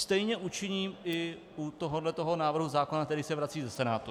Stejně učiním i u tohoto návrhu zákona, který se vrací ze Senátu.